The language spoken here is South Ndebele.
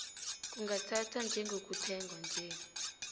kungathathwa njengokuthengwa nje